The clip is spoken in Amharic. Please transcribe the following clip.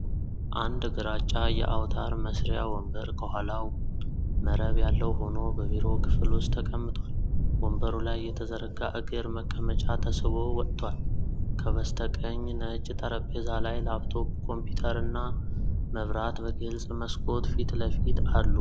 አንድ ግራጫ የአውታር መሥሪያ ወንበር ከኋላው መረብ ያለው ሆኖ በቢሮ ክፍል ውስጥ ተቀምጧል። ወንበሩ ላይ የተዘረጋ እግር መቀመጫ ተስቦ ወጥቷል። ከበስተቀኝ ነጭ ጠረጴዛ ላይ ላፕቶፕ ኮምፒውተርና መብራት በግልጽ መስኮት ፊት ለፊት አሉ።